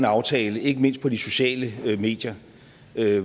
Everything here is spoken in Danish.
aftale ikke mindst på de sociale medier